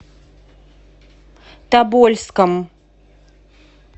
тобольском